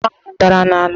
Osisi akpụ ahụ dara n'ala.